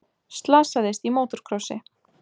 Slasaðist í mótorkrossi